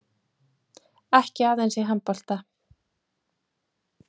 Ekki aðeins í handbolta.